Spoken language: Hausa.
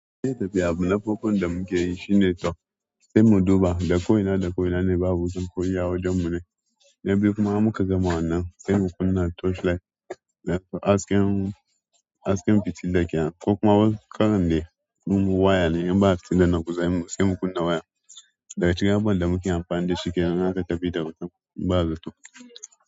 Sai abu na na farkon da muke yi shine to sai mu duba, da koina da koina ne babu wuta ko iya wajen mu ne. Na biyu kuma in muka gama wannan sai mu kunna torchlight, hasken, hasken fitila kenan. Ko kuma wasu karan dai ko waya ne in ba fitila na kusa sai mu kunna waya. Daga cikin abubuwan da muke amfani da shi kenan in aka tafi da wutan ba zato.